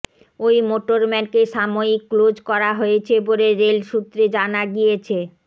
ওই মোটরম্যানকে সাময়িক ক্লোজ করা হয়েছে বলে রেল সূত্রে জানা গিয়েছে